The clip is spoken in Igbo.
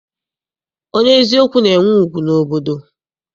Onye eziokwu na-enwe ugwu n'obodo.